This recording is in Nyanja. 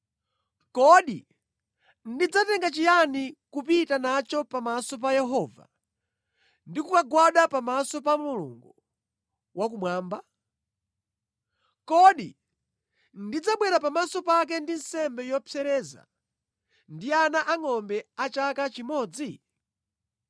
Kodi ndidzatenga chiyani kupita nacho pamaso pa Yehova ndi kukagwada pamaso pa Mulungu wakumwamba? Kodi ndidzabwera pamaso pake ndi nsembe yopsereza, ndi ana angʼombe a chaka chimodzi?